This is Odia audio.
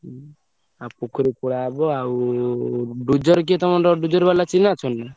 ହୁଁ ଆଉ ପୋଖରୀ ଖୋଳା ହବ ଆଉ dozer କିଏ ତମର dozer ବାଲା ଚିହ୍ନା ଅଛନ୍ତି ନା?